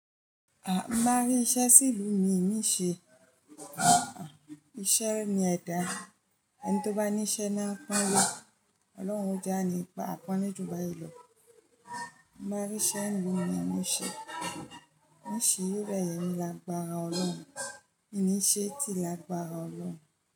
À ń máa rí iṣẹ́ sí ìlú mi mín se Iṣẹ́ ni ẹ̀dà. Ẹni tó bá ní iṣẹ́ máa ń pọ́n lé. Ọlọ́run ó jani pa àpọ́nlé jù báàyí lọ Máa rí iṣẹ́ ìlú mi, mín se Níṣe irẹ̀ yẹn ni lágbára Ọlọ́run. Ní ṣe tí lágbára Ọlọ́run.